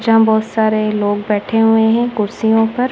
जहा बहुत सारे लोग बैठे हुए हैं कुर्सियो पर--